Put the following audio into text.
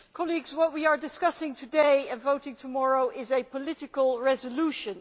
Colleagues, what we are discussing today and voting tomorrow is a political resolution